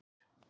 Þróttur